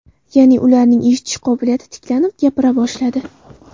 Ya’ni, ularning eshitish qobiliyati tiklanib, gapira boshladi.